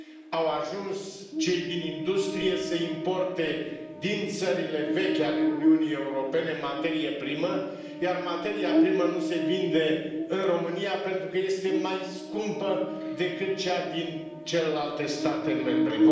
Au ajuns cei din industrie să importe din țările vechi ale Uniunii Europene materie primă, iar materia primă nu se vinde în România pentru că este mai scumpă decât cea din celelalte state membre.